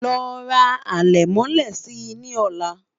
ló rà alè mọlé sí ní ola